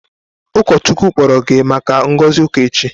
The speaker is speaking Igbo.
Ụkọchukwu kpọrọ gị maka ngozi uka echi?